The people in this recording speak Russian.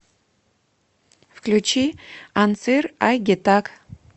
включи анцир ай гетак